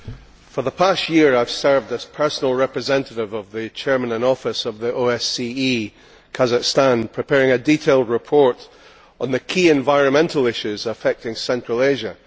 Madam President, for the past year I have served as personal representative of the chairman in office of the OSCE Kazakhstan, preparing a detailed report on the key environmental issues affecting central Asia.